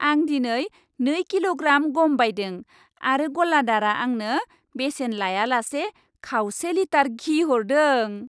आं दिनै नै किल'ग्राम गम बायदों आरो गलादारआ आंनो बेसेन लायालासे खावसे लिटार घि हरदों।